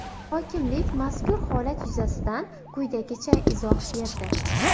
Hokimlik mazkur holat yuzasidan quyidagicha izoh berdi.